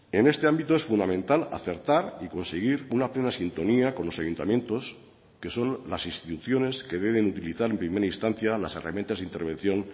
en este ámbito es fundamental acertar y conseguir una plena sintonía con los ayuntamientos que son las instituciones que deben utilizar en primera instancia las herramientas de intervención